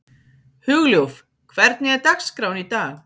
Hugljúf, hvernig er dagskráin í dag?